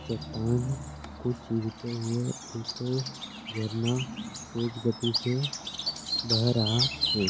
चट्टान को चीरते हुए एक झरना तेज गति से बह रहा है।